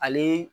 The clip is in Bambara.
Ale